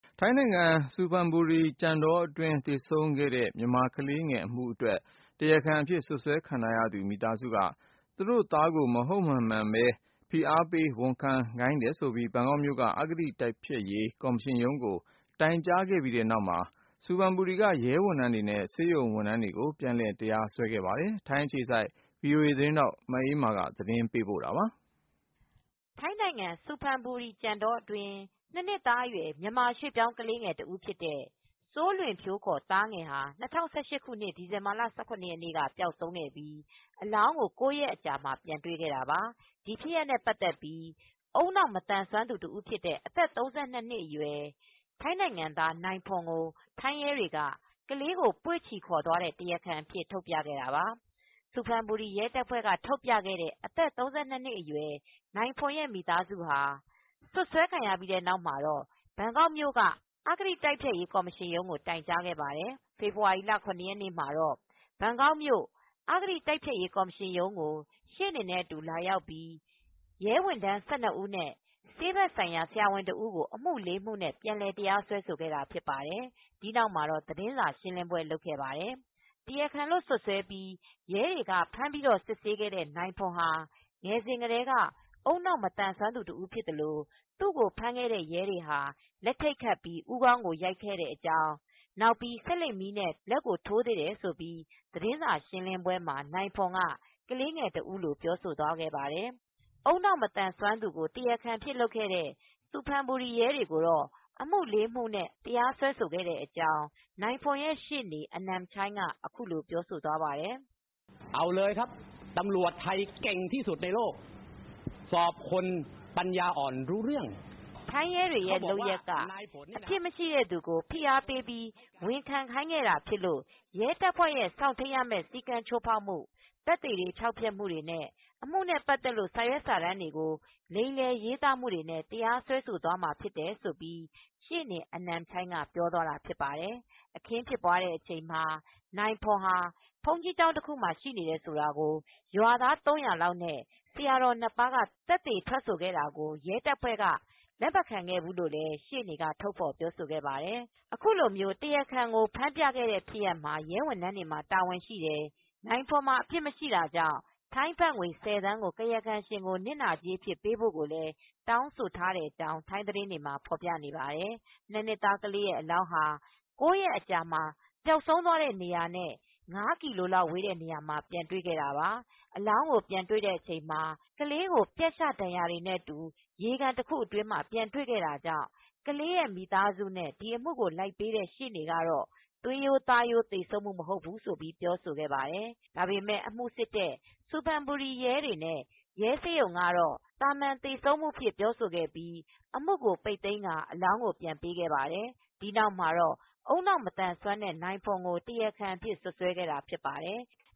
ထိုင်းနိုင်ငံ ဆူဖန်ဘူရီ ကြံတောအတွင်း သေဆုံးခဲ့တဲ့ မြန်မာကလေးငယ် အမှု အတွက် တရားခံ အဖြစ် စွတ်စွဲခံရထားရသူ မိသားစု က သူတို့သားကို မဟုတ်မမှန်ပဲ ဖိအားပေးခဲ့ ဝန်ခံခိုင်းတယ်ဆိုပြီး ဘန်ကောက်မြို့က အဂတိတိုက်ဖျက်ရေးကော်မရှင်ရုံးကို တိုင်ကြားခဲ့ပြီးတဲ့နောက် ဆူဘန်ဘူရီက ရဲ ဝန်ထမ်း၁၂ ဦးနဲ့ ရဲဆေးရုံကဆေးဖက်ဆိုင်ရာ ဆရာဝန်တစ်ဦးကို အမှုလေးမှုနဲ့ ပြန်လည် တရားစွဲခဲ့ပါတယ်။ ထိုင်းအခြေစိုက် VOA သတင်းထောက် မအေးအေးမာက သတင်းပေးပို့ ထားပါတယ်။ ထိုင်းနိုင်ငံ ဆူဖန်ဘူရီ ကြံတောအတွင်း နှစ်နှစ်သားအရွယ် မြန်မာရွှေ့ပြောင်း ကလေး ငယ်တဦးဖြစ်တဲ့ စိုလွင်ဖြိုးခေါ်(သားငယ်) ဟာ၂၀၁၈ ဒီဇင်ဘာလ ၁၇ ရက်နေ့က ပျောက်ဆုံးခဲ့ပြီး အလောင်းကို (၉)ရက်ကြာမှာ ပြန်တွေ့ခဲ့တာပါ။ ဒီဖြစ်ရပ်နဲ့ ပတ်သက်ပြီး ဦးနှောက် မသန်စွမ်းသူ ဖြစ်တဲ့ အသက် ၃၂နှစ် အရွယ်နိုင်ဖွန်ကို ထိုင်းရဲက ကလေးကို ပွေ့ချီခေါ်သွားတဲ့တရားခံအဖြစ် ထုတ်ပြခဲ့တာပါ။ ဆူဖန်ဘူရီ ရဲတပ်ဖွဲက ထုတ်ပြခဲ့တဲ့ အသက် ၃၂နှစ် အရွယ်နိုင်ဖွန်ရဲ မိသားစု ဟာ စွပ်စွဲခံရပြီးတဲ့နောက်မှာ ဘန်ကောက်မြိုက အဂတိတိုက်ဖျက်ရေးကော်မရှင် ရုံးကိုတိုင်ကြားခဲ့ပါတယ်။ ဖေဖေါ်ဝါရီလ ၇ ရက်နေ့ မှာတော့ ဘန်ကောက်မြို့ အဂတိ တိုက်ဖျက်ရေးကော်မရှင်ရုံးကို ရှေ့နေနဲ့အတူ လာရောက်ပြီး ရဲ ၁၂ ဦးနဲ့ ဆေးဖက်ဆိုင်ရာ ဆရာဝန်တစ်ဦးကို အမှုလေးမှုနဲ့ ပြန်လည်တရားစွဲခဲ့တာဖြစ်ပါတယ်။ ဒီနောက်မှာတော့ သတင်းစာရှင်းလင်းပွဲလုပ်ခဲ့ပါတယ်။ တရားခံလို့ စွတ်စွဲပြီး ရဲတွေက ဖမ်းစစ်ခဲ့တဲ့ နိုင်ဖွန်ဟာ ငယ်စဉ်ကတည်းက ဦးနှောက် မသန်းစွမ်းသူတစ်ဦးဖြစ်သလို သူကိုဖမ်းတဲ့ရဲတွေဟာ လက်ထိတ်ခတ်ပြီး ဦးခေါင်းကို ရိုက်တယ် နောက်ပြီး ဆေးလိတ်မီးနဲ့ လက်ကိုထိုးသေးတယ်ဆိုပြီး သတင်းစာရှင်းပွဲမှာ နိုင်ဖွန်က ကလေးငယ်တစ်ဦးလို ပြောဆိုသွားခဲ့ပါတယ်။ ဦးနှောက် မသန်စွမ်းသူကို တရားခံအဖြစ်လုပ်ခဲ့တဲ့ ဆူဖန်ဘူရီရဲတွေ ကိုတော့ အမူ၄မူနဲ့ တရားစွဲခဲ့တဲ့ အကြောင်း နိုင်ဖွန်ရဲ့ ရှေ့နေအနမ်ချိုင်းက အခုလိုပြောသွားပါတယ်။ ''ထိုင်းရဲတွေရဲ့ လုပ်ရပ်က အပြစ်မရှိတဲ့သူကို ဖိအားပေး ဝန်ခံခိုင်းခဲ့တာဖြစ်လို့ ရဲတပ်ဖွဲ့ စောင့်ထိန်းရမယ့် စည်းကမ်းချိုးဖေါက်မှု၊ သက်သေတွေဖျောက်ဖျက်မှုနဲ့ အမှုနဲ့ပတ်သက်လို့စာရွက်စာတမ်းတွေကို လိမ်လည်ရေးသားမှုတွေနဲ့ တရားစွဲမှာပါ၊ " လို့ ရှေ့နေ အနမ်ချိုင်း ကပြောသွားပါတယ်။ အခင်းဖြစ်တဲ့အချိန်မှာ နိုင်ဖွန်ဟာ ဘုန်းကြီးကျောင်းမှာ ရှိနေတယ်ဆိုတာကို ရွာသား ၃၀၀ နဲ့ ဆရာတော်နှစ်ပါးက သက်သေထွက်ဆိုခဲ့တာကို ရဲတပ်ဖွဲ့က လက်မခံခဲ့ဘူးလို့ လည်း ရှေ့နေက ထုတ်ဖော်ပြောဆိုခဲ့ပါတယ် ။ ခုလို တရားခံလို့ ဖမ်းပြခဲ့တဲ့ ဖြစ်ရပ်မှာ ရဲဝန်ထမ်းတွေမှာ တာဝန်ရှိတယ်။ နိုင်ဖွန်မှာ အပြစ်မရှိတာကြောင့် ထိုင်း ဘတ်ငွေ ၁၀ သန်း ကို ကာယကံရှင်ကို နစ်နာကြေးအဖြစ်ပေးဖို့ ကိုလည်း တောင်ဆိုထားကြောင်း ထိုင်းသတင်းတွေမှာ ဖော်ပြပါတယ်။ ၂နှစ်သားကလေးရဲ့ အလောင်းဟာ ၉ရက်ကြာမှ ပျောက်ဆုံးသွားတဲ့ နေရာနဲ့ ၅ကီလိုလောက်ဝေးတဲ့နေရာမှာပြန်တွေခဲ့ပါတယ်။ အလောင်းကို ပြန်တွေ့ချိန်မှာ ကလေးမှာပြတ်ရှဒဏ်ရာတွေနဲ့ အတူ ရေကန်တခုအတွင်းမှာ ပြန်တွေ့ခဲ့တာကြောင့်ကလေးရဲ မိသားစုနဲ့ ဒီအမူကိုလိုက်ပေးတဲ့ ရှေနေ့ ကတော့ သွေးရိုသားရိုးသေဆုံးမူ မဟုတ်ဘူးလို့ပြောဆိုခဲ့ပါတယ် ။ ဒါပေမယ့် အမူစစ်တဲ့ ဆူဘန်ဘူရီရဲတွေနဲ့ ရဲဆေးရုံကတော့ သာမန်သေဆုံးမူအဖြစ် ပြောဆိုခဲ့ပြိး အမူကို ပိတ်သိမ်းခဲ့ပြီး အလောင်းကို ပြန်ပေးခဲ့ပါတယ် ။ဒီနောက်မှာတော့ ဦးနှောက်မသန်စွမ်းတဲ့ နိုင်ဖွန်ကို တရားခံအဖြစ် စွပ်စွဲခဲ့တာဖြစ်ပါတယ် ။